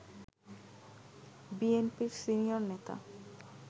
বিএনপির সিনিয়র নেতা